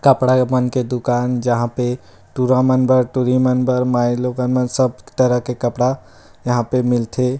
कपड़ा एमन के दुकान जहाँ पे टूरा मन बर टूरी मन बर माय लोगन के सब तरह के कपड़ा यहाँ पे मिलथे।